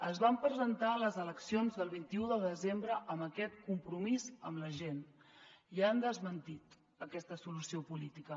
es van presentar a les eleccions del vint un de desembre amb aquest compromís amb la gent i han desmentit aquesta solució política